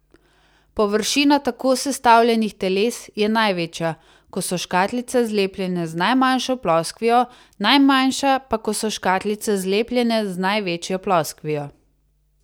Površina tako sestavljenih teles je največja, ko so škatlice zlepljene z najmanjšo ploskvijo, najmanjša pa, ko so škatlice zlepljene z največjo ploskvijo.